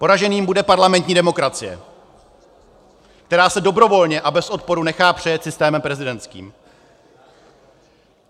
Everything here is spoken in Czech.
Poraženým bude parlamentní demokracie, která se dobrovolně a bez odporu nechá přejet systémem prezidentským.